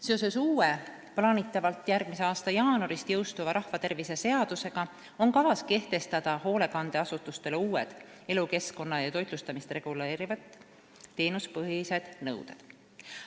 Seoses uue, plaanitavalt järgmise aasta jaanuaris jõustuva rahvatervise seadusega on kavas kehtestada hoolekandeasutustele uued elukeskkonda ja toitlustamist reguleerivad teenuspõhised nõuded.